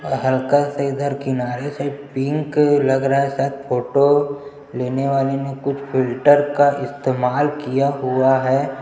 आ हल्का से इधर किनारे से पिंक लग रहा है शायद फोटो लेने वाले ने कुछ फिलटर का इस्तेमाल किया हुआ है।